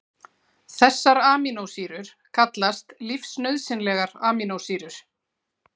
Þessar amínósýrur kallast lífsnauðsynlegar amínósýrur.